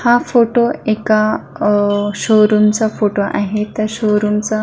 हा फोटो एका अ शोरूम चा फोटो आहे त्या शोरूम चा --